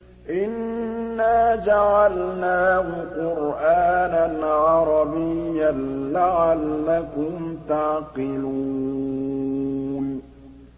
إِنَّا جَعَلْنَاهُ قُرْآنًا عَرَبِيًّا لَّعَلَّكُمْ تَعْقِلُونَ